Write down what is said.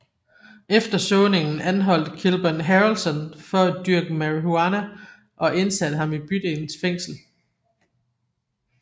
Efter såningen anholdte Kilburn Harrelson for at dyrke marihuana og indsatte ham i bydelens fængsel